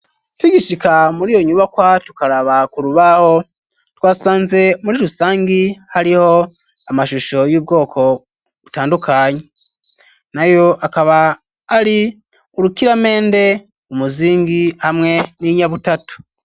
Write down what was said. Tugishika muri iyo nyubakwa tukaraba ku rubaho, twasanze muri rusangi hariho amashusho y'ubwoko butandukanye. Nayo akaba ari: urukiramende, umuzingi hamwe n'inyabutatu.